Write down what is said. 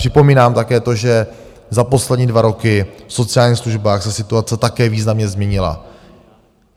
Připomínám také to, že za poslední dva roky v sociálních službách se situace také významně změnila.